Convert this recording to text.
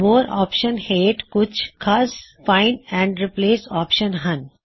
ਮੋਰ option ਹੇਠ ਕੁਛ ਖਾਸ ਫਾਇਨ੍ਡ ਐਂਡ ਰਿਪ੍ਲੇਸ ਆਪ੍ਸ਼ਨ ਹਨ